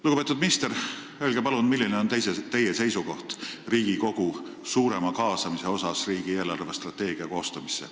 Lugupeetud minister, öelge palun, milline on teie seisukoht Riigikogu suurema kaasamise suhtes riigi eelarvestrateegia koostamisse.